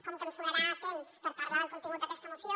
com que em sobrarà temps per parlar del contingut d’aquesta moció